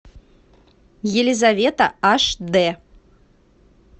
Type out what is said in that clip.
елизавета аш дэ